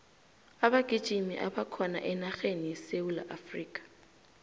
abagijimi abakhona enarheni yesewula afrika